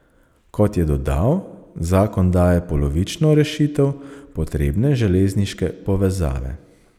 Kot je dodal, zakon daje polovično rešitev potrebne železniške povezave.